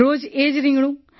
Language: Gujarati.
રોજ એ જ રિંગણું